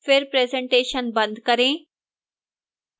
फिर presentation बंद करें